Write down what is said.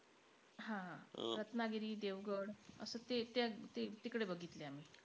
हां रत्नागिरी, देवगड असं ते त्या तिकडे बघतिलयं आम्ही.